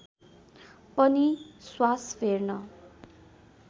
पनि श्वास फेर्न